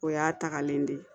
O y'a tagalen de ye